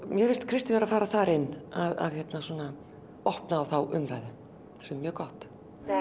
mér finnst Kristín vera að fara þar inn opna á þá umræðu sem er mjög gott